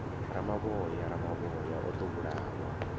ramavhoya ramavhoya o ḓo vhulawa